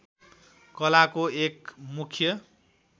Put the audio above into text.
कलाको एक मुख्य